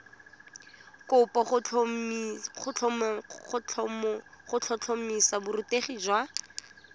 kopo go tlhotlhomisa borutegi jwa